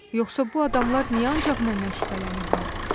Yoxsa bu adamlar niyə ancaq məndən şübhələnirlər?